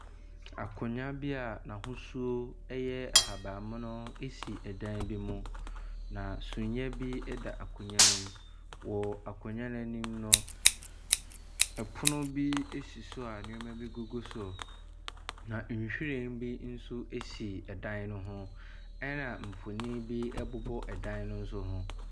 Akonnwa bi ahosuo yɛ ahabanmono si dan bi mu na suneɛ da akonnwa ne mu. Wɔ akonnwa no anim no, pono bi si so a nneɛma bi gugu so. Na nhwiren bi nso si dan ne ho na mfonini bi nso bobɔ dan no nso ho.